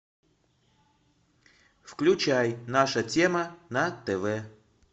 включай наша тема на тв